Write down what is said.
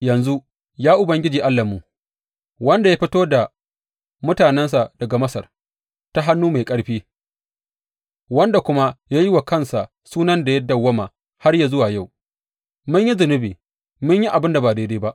Yanzu, ya Ubangiji Allahnmu, wanda ya fito da mutanensa daga Masar ta hannu mai ƙarfi wanda kuma ya yi wa kansa sunan da ya dawwama har yă zuwa yau, mun yi zunubi, mun yi abin da ba daidai ba.